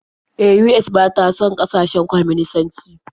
E, US ba ta son ƙasashen kwaminisanci.